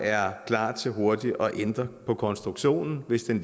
er klar til hurtigt at ændre på konstruktionen hvis den